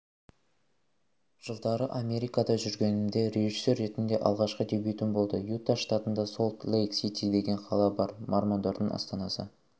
жылдары америкада жүргенімде режиссер ретінде алғашқы дебютім болды юта штатында солт-лейк-сити деген қала бар мормондардың астанасы